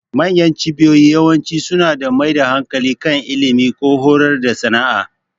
Manyan cibiyoyin yawanci suna mai da hankali kan ilimi, ko horar da sana'a.